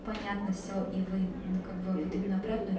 понятно все и вы ну как бы вот именно обратную